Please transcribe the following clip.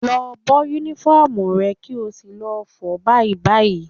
Lọ bọ́ Únífọ́ọ̀mù rẹ kí o sì lọ fọ̀ ọ́ báyìí báyìí